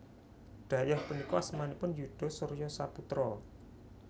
Dhayoh punika asmanipun Yuda Surya Saputra